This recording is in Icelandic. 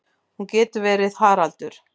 Hún getur verið Haraldur